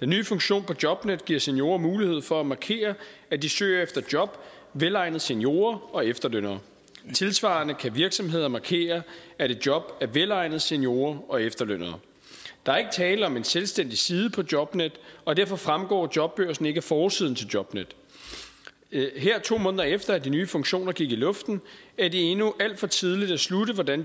den nye funktion på jobnet giver seniorer mulighed for at markere at de søger efter job velegnet seniorer og efterlønnere tilsvarende kan virksomheder markere at et job er velegnet til seniorer og efterlønnere der er ikke tale om en selvstændig side på jobnet og derfor fremgår jobbørsen ikke af forsiden til jobnet her to måneder efter at de nye funktioner gik i luften er det endnu alt for tidligt at slutte hvordan